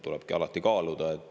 Tulebki alati kaaluda.